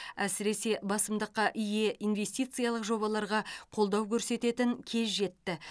әсіресе басымдыққа ие инвестициялық жобаларға қолдау көрсететін кез жетті